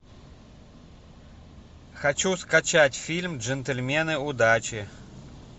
хочу скачать фильм джентльмены удачи